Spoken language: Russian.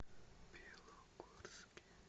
белогорске